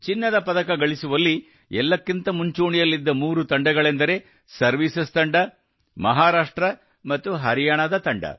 ಚಿನ್ನದ ಪದಕ ಗಳಿಸುವಲ್ಲಿ ಎಲ್ಲಕ್ಕಿಂತ ಮುಂಚೂಣಿಯಲ್ಲಿದ್ದ ಮೂರು ತಂಡಗಳೆಂದರೆ ಸರ್ವೀಸಸ್ ತಂಡ ಮಹಾರಾಷ್ಟ್ರ ಮತ್ತು ಹರಿಯಾಣದ ತಂಡ